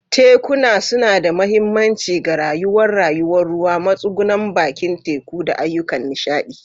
Tekuna suna da mahimmanci ga rayuwar rayuwar ruwa, matsugunan bakin teku, da ayyukan nishaɗi.